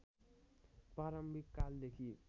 प्रारम्भिक कालदेखि